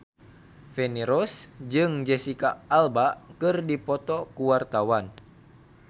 Feni Rose jeung Jesicca Alba keur dipoto ku wartawan